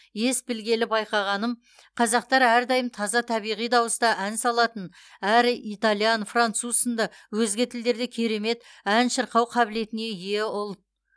ес білгелі байқағаным қазақтар әрдайым таза табиғи дауыста ән салатын әрі итальян француз сынды өзге тілдерде керемет ән шырқау қабілетіне ие ұлт